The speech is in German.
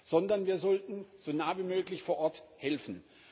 sondern wir sollten so nah wie möglich, vor Ort, helfen.